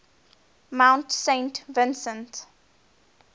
mount saint vincent